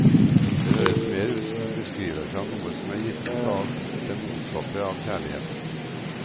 Det høres mer ut som en beskrivelse av noe som er gitt ut av det motsatte av kjærlighet.